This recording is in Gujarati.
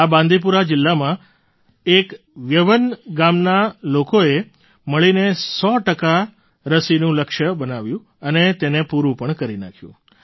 આ બાંદીપુરા જિલ્લામાં એક વ્યવન ગામના લોકોએ મળીને ૧૦૦ ટકા સો ટકા રસીનું લક્ષ્ય બનાવ્યું અને તેને પૂરું પણ કરી નાખ્યું